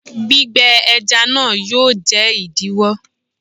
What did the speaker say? Gbígbẹ ẹja náà yóò jẹ́ ìdíwó.